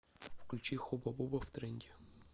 включи хуба буба втренде